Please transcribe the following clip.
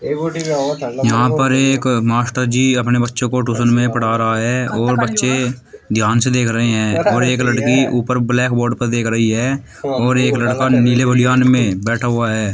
यहां पर एक मास्टर जी अपने बच्चों को ट्यूशन में पढ़ा रहे है और बच्चे ध्यान से देख रहे हैं और एक लड़की ऊपर ब्लैकबोर्ड पर देख रही है और एक लड़का नीले बनियान में बैठा हुआ है।